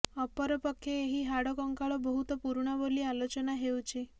ଅପରପକ୍ଷେ ଏହି ହାଡ଼ କଙ୍କାଳ ବହୁତ ପୁରୁଣା ବୋଲି ଆଲୋଚନା ହେଉଛି